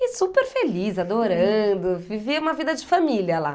E super feliz, adorando, vivia uma vida de família lá.